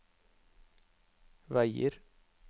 veier